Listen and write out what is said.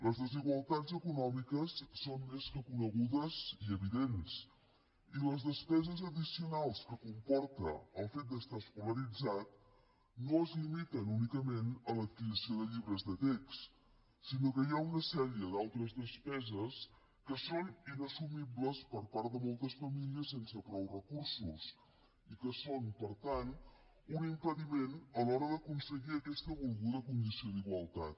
les desigualtats econòmiques són més que conegudes i evidents i les despeses addicionals que comporta el fet d’estar escolaritzat no es limiten únicament a l’adquisició de llibres de text sinó que hi ha una sèrie d’altres despeses que són inassumibles per part de moltes famílies sense prou recursos i que són per tant un impediment a l’hora d’aconseguir aquesta volguda condició d’igualtat